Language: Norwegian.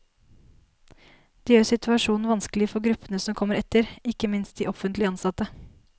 Det gjør situasjonen vanskelig for gruppene som kommer etter, ikke minst de offentlig ansatte.